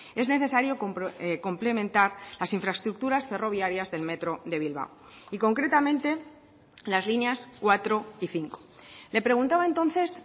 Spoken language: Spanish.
es necesario complementar las infraestructuras ferroviarias del metro de bilbao y concretamente las líneas cuatro y cinco le preguntaba entonces